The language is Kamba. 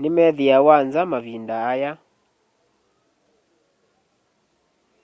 ni methiawa nza mavinda aya